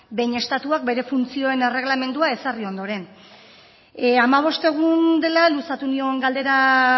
behin estatuak bere funtzioen erregelamendua ezarri ondoren hamabost egun dela luzatu nion galdera